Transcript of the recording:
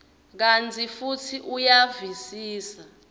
kantsi futsi uyavisisa